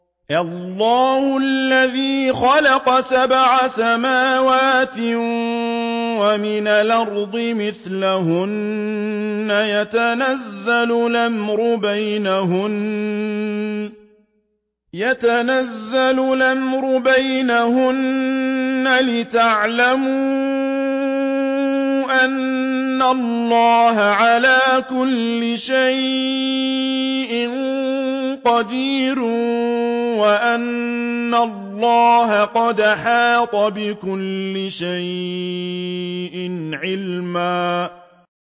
اللَّهُ الَّذِي خَلَقَ سَبْعَ سَمَاوَاتٍ وَمِنَ الْأَرْضِ مِثْلَهُنَّ يَتَنَزَّلُ الْأَمْرُ بَيْنَهُنَّ لِتَعْلَمُوا أَنَّ اللَّهَ عَلَىٰ كُلِّ شَيْءٍ قَدِيرٌ وَأَنَّ اللَّهَ قَدْ أَحَاطَ بِكُلِّ شَيْءٍ عِلْمًا